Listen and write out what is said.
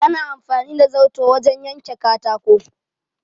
Ana amfani da zarto wajen yanke katako.